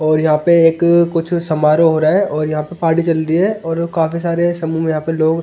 और यहां पे एक कुछ समारोह हो रहा है और यहां पे पार्टी चल रही है और काफी सारे समूह में यहां पे लोग--